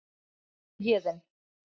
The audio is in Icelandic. spurði Héðinn.